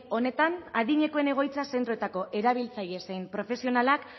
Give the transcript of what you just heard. honetan adinekoen egoitza zentroetako erabiltzaile zein profesionalak